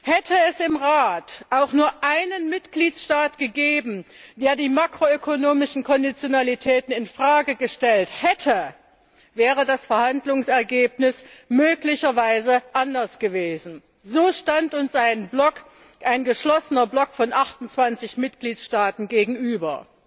Hätte es im Rat auch nur einen Mitgliedstaat gegeben, der die makro ökonomischen Konditionalitäten in Frage gestellt hätte, wäre das Verhandlungsergebnis möglicherweise anders gewesen. So stand uns ein geschlossener Block von 28 Mitgliedstaaten gegenüber.